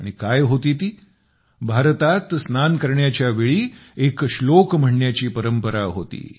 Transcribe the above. आणि काय होती ती भारतात स्नान करण्याच्या वेळी एक श्लोक म्हणण्याची परंपरा होती